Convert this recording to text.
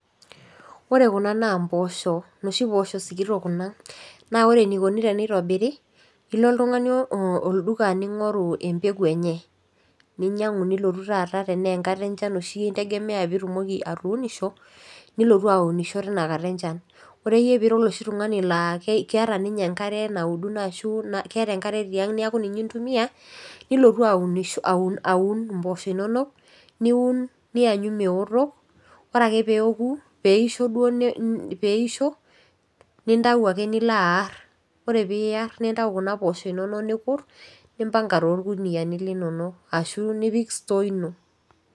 Ore kuna naa mpoosho inoshi poosho sikitok kuna naa ore eneikoni teneitobiri ilo oltung'ani oh olduka ning'oru empeku enye ninyiang'u nilotu taata tenaa enkata enchan oshi integemeya pitumoki atuunisho nilotu aunisho tinakata enchan ore iyie pira oloshi tung'ani laa keeta ninye enkare nauduno ashu keeta enkare tiang niaku ninye intumia nilotu aunisho aun imposho inonok niun nianyu mewoto ore ake peoku peisho duo ne peisho nintau ake nilo arr ore piyarr nintau kuna poosho inonok nikut nimpanga torkuniani linonok ashu nipik store ino.